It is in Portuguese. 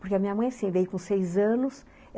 Porque a minha mãe, assim, veio com seis anos.